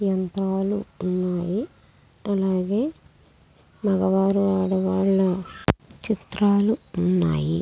అలాగే మొగ వారు అడ్డ వారు ఉన్నారు--